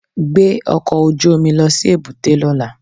Gbé ọkọ̀ ojú omi lọ sí èbúté lọ́la